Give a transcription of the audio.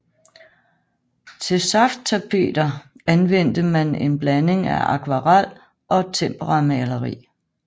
Til safttapeter anvendte man en blanding af akvarel og temperamaleri